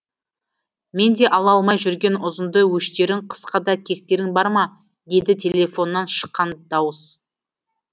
менде ала алмай жүрген ұзында өштерің қысқада кектерің бар ма дейді телефоннан шыққан дауыс